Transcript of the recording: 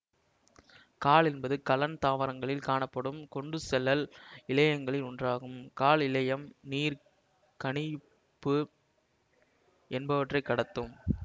காழ் என்பது கலன் தாவரங்களில் காணப்படும் கொண்டுசெல்லல் இழையங்களில் ஒன்றாகும் காழ் இழையம் நீர் கனி பு என்பவற்றை கடத்தும்